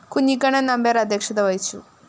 കുഞ്ഞിക്കണ്ണന്‍ നമ്പ്യാര്‍ അധ്യക്ഷത വഹിച്ചു